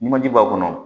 Numanji b'a kɔnɔ